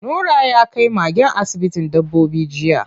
Nura ya kai magen asibitin dabbobi jiya.